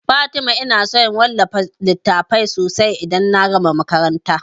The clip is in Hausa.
Fatima ina son wallafa littatafai sosai idan na gama makaranta